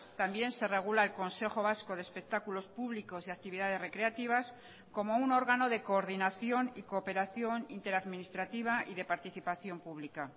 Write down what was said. también se regula el consejo vasco de espectáculos públicos y actividades recreativas como un órgano de coordinación y cooperación interadministrativa y de participación pública